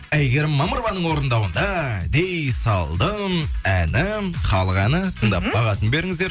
әйгерім мамырованың орындауында дей салдың әнін халық әні тыңдап бағасын беріңіздер